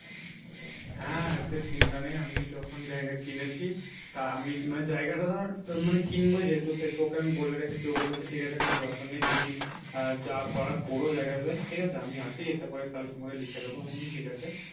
হ্যাঁ সে চিন্তা নেই আমি যখন জায়গা কিনেছি তা আমি মানে জায়গাটা ধর মানে কিনবো যেহেতু সেহেতু ওকে আমি বলে রেখেছি ও বলেছে ঠিক আছে কোনো ব্যাপার নেই তুমি আহ যা করার করো জায়গাতে আমি আসি এসে পরে তাহলে তোমাকে লিখে দেবো। আমি বলি ঠিক আছে